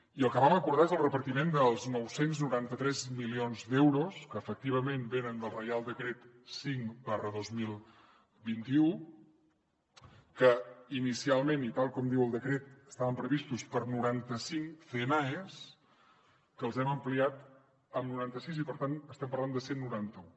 i el que vam acordar és el repartiment dels nou cents i noranta tres milions d’euros que efectivament venen del reial decret cinc dos mil vint u que inicialment i tal com diu el decret estaven previstos per a noranta cinc cnaes que els hem ampliat amb noranta sis i per tant estem parlant de cent i noranta un